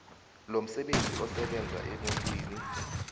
lomsebenzi usebenza emuntwini